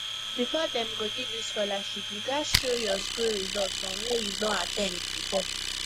before dem go give you scholarship you gats show your school result from where you don at ten d before